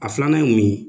A filanan ye mun ye